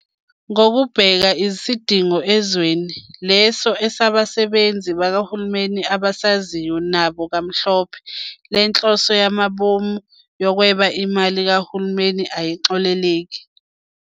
Ngokubheka isidingo ezweni, leso abasebenzi bakahulumeni abasaziyo nabo kamhlophe, lenhloso yamabomu yokweba imali kahulumeni ayixoleleki.